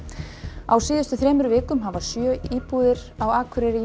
á síðustu þremur vikum hafa sjö íbúðir á Akureyri ýmist